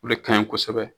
O de kaɲi kosɛbɛ